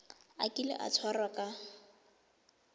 a kile a tshwarwa ka